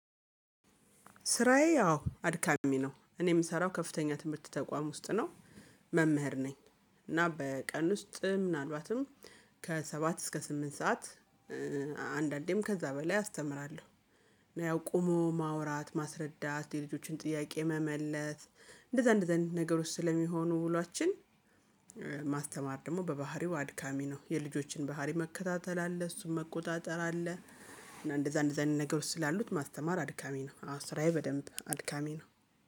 ስራዬ አዎ አድካሚ ነው እኔ የምሰራው ከፍተኛ ትምህርት ተቋም ውስጥ ነው። መምህር ነኝ። እና በቀን ውስጥ ምናልባትም ከሰባት እስከ ስምንት ሰዓት አንዳንዴም ከዛ በላይ አስተምራለሁ። እና ያው ቆሞ ማውራት ማስረዳት የልጆችን ጥያቄ መመለስ እንደዛ እንደዛ አይነት ነገር ውስጥ ስለሚሆኑ ውሏችን። ማስተማር ደግሞ በባህሪው አድካሚ ነው የልጆችን ባህሪ መከታተል አለ እሱን መቆጣጠር አለ። እና እንደዛ እንደዛ አይነት ነገሮች ስላሉት ማስተማር አድካሚ ነው። አወ አስራዬ በደንብ አድካሚ ነው